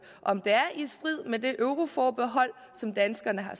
om det er i strid med det euroforbehold som danskerne har